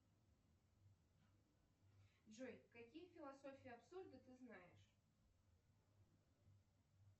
джой какие философии абсурда ты знаешь